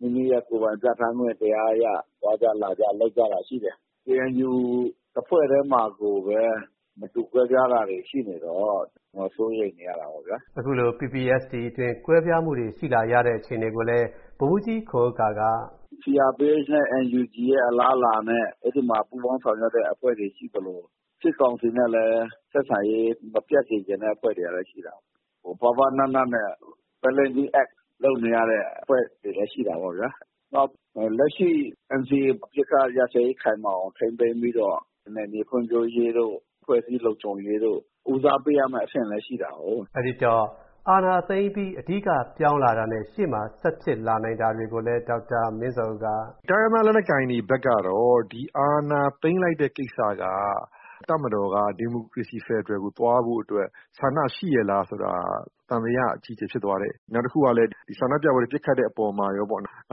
မိမိတို့ရဲ့ ကိုယ်ပိုင်ပြဋ္ဌာန်းခွင့်တရားအရ သွားကြ လာကြ လုပ်ကြတာ ရှိတယ်။ ကေအန်ယူ တဖွဲ့တည်းမှာကိုပဲ မတူကွဲပြားတာတွေ ရှိနေတော့ စိုးရိမ်နေရတာပေါ့ဗျာ။” အခုလို PPST အတွင်း ကွဲပြားမှုတွေ ရှိလာရတဲ့ အခြေအနေကိုလည်း ဗိုလ်မှူးကြီးခွန်ဥက္ကာက… “CRPH နဲ့ NUG ရဲ့ အလားအလာနဲ့ အဲဒီမှာ ပူးပေါင်းဆောင်ရွက်တဲ့ အဖွဲ့တွေ ရှိသလို စစ်ကောင်စီနဲ့လည်း ဆက်ဆံရေး မပျက်စေချင်တဲ့ အဖွဲ့တွေကလည်း ရှိတာကိုး။ ပါးပါးနပ်နပ်နဲ့ လုပ်နေရတဲ့ အဖွဲ့တွေလည်း ရှိတာပေါ့ဗျာ။ နောက် လက်ရှိ NCA အပစ်အခတ်ရပ်စဲရေး ခိုင်မာအောင် ထိန်းသိမ်းပြီးတော့ နယ်မြေဖွံ့ဖြိုးရေးတို့ အဖွဲ့အစည်း လုံခြုံရေးတို့ ဦးစားပေးရမယ့် အဆင့်လည်း ရှိတာကိုး။” လို့ ပြောပါတယ်။ အဲဒီတော့ အာဏာသိမ်းပြီး အဓိက ပြောင်းလာတာနဲ့ ရှေ့မှာ ဆက်ဖြစ်လာနိုင်တာတွေကိုလည်း ဒေါက်တာမင်းဇော်ဦးက အခုလိုပြောပါတယ်။ “တိုင်းရင်းသား လက်နက်ကိုင်တွေဘက်ကတော့ အာဏာသိမ်းလိုက်တဲ့ ကိစ္စက တပ်မတော်က ဒီမိုကရေစီ ဖက်ဒရယ်ကို သွားဖို့အတွက် ဆန္ဒရှိရဲ့လားဆိုတာ သံသယ အကြီးအကျယ် ဖြစ်သွားတယ်။ နောက်တခုကလည်း ဆန္ဒပြပွဲတွေ ပစ်ခတ်တဲ့အပေါ်မှာရောပေါ့။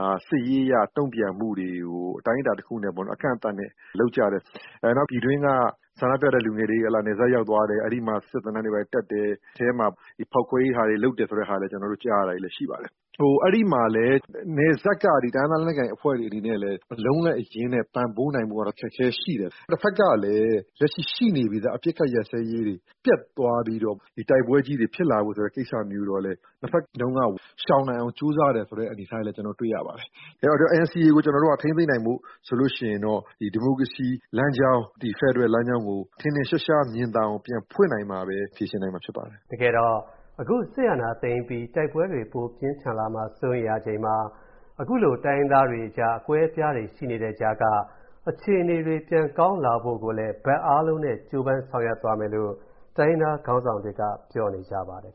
ဒါ စစ်ရေးအရ တုံ့ပြန်မှုတွေကို အတိုင်းအတာတခုနဲ့ အကန့်အသတ်နဲ့ လုပ်ကြတယ်။ နောက် ပြည်တွင်းက ဆန္ဒပြတဲ့လူငယ်တွေ နယ်စပ်ရောက်သွားတယ်။ အဲဒီမှာ စစ်သင်တန်းတွေ ဘာတွေ တက်တယ်။ အထဲမှာ ဖောက်ခွဲရေး လုပ်တယ်ဆိုတဲ့ဟာတွေလည်း ကျနော်တို့ ကြားရတာ ရှိပါတယ်။ အဲဒီမှာ နယ်စပ်က တိုင်းရင်းသား လက်နက်ကိုင်အဖွဲ့တွေ အနေနဲ့လည်း အလုံးအရင်းနဲ့ ပံ့ပိုးနိုင်ဖို့ကတော့ အခက်အခဲရှိတယ်။ တဖက်ကလည်း လက်ရှိ ရှိနေပြီးသား အပစ်အခတ် ရပ်စဲရေးတွေ ပျက်သွားပြီးတော့ တိုက်ပွဲကြီးတွေ ဖြစ်လာဖို့ဆိုတဲ့ ကိစ္စမျိုးတော့လည်း နှစ်ဖက်လုံးက ရှောင်နိုင်အောင် ကြိုးစားတယ်ဆိုတဲ့ အနေအထားတွေလည်း တွေ့ရပါတယ်။ အဲတော့ NCA ကို ထိန်းသိမ်းနိုင်ဖို့ဆိုရင်တော့ ဒီမိုကရေစီလမ်းကြောင်း၊ ဖက်ဒရယ်လမ်းကြောင်းကို ထင်ထင်ရှားရှား မြင်သာအောင် ပြန်ဖွင့်နိုင်မှပဲ ဖြေရှင်းနိုင်မှာ ဖြစ်ပါတယ်။” တကယ်တော့ အခု စစ်အာဏာသိမ်းပြီး တိုက်ပွဲတွေ ပိုပြင်းထန်လာမှာ စိုးရိမ်ရချိန်မှာ အခုလို တိုင်းရင်းသားတွေကြား အကွဲအပြားတွေ ရှိနေတဲ့ကြားက အခြေအနေတွေ ပြန်ကောင်းလာဖို့ကိုလည်း ဘက်အားလုံးနဲ့ ကြိုးပမ်းဆောင်ရွက်သွားမယ်လို့ တိုင်းရင်းသားခေါင်းဆောင်တွေက ပြောနေကြပါတယ်